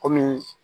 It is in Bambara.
Kɔmi